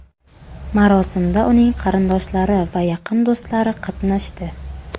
Marosimda uning qarindoshlari va yaqin do‘stlari qatnashdi.